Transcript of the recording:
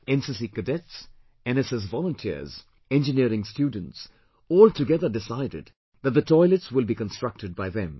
NCC cadets, NSS volunteers, Engineering students all together decided that the toilets will be constructed by them